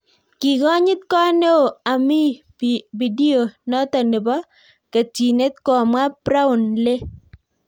Kii konyiit koot neo amii pidio notok nepoo ketyinet komwaa praon lee